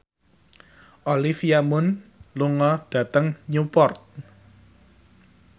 Olivia Munn lunga dhateng Newport